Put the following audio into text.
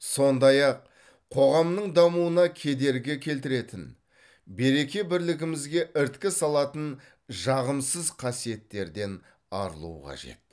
сондай ақ қоғамның дамуына кедергі келтіретін береке бірлігімізге іріткі салатын жағымсыз қасиеттерден арылу қажет